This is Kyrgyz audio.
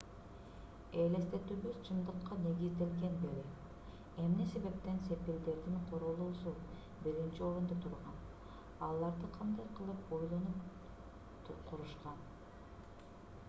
элестетүүбүз чындыкка негизделген беле эмне себептен сепилдердин курулуусу биринчи орунда турган аларды кандай кылып ойлонуп курушкан